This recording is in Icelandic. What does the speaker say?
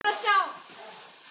Það gerist ekki hér.